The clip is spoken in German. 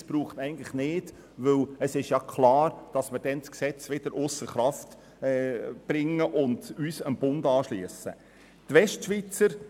Es braucht diesen nicht, weil es klar ist, dass wir in dieser Situation das Gesetz wieder ausser Kraft setzen und uns der Gesetzgebung des Bundes anschliessen würden.